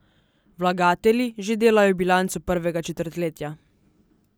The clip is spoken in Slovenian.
Vlagatelji že delajo bilanco prvega četrtletja.